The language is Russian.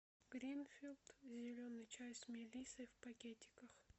гринфилд зеленый чай с мелиссой в пакетиках